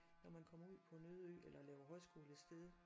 Når man kom ud på en øde ø eller laver højskole et sted